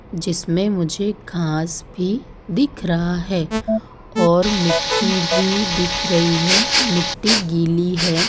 जिसमें मुझे घांस भी दिख रहा है और मिट्टी भी दिख रही है। मिट्टी गीली है।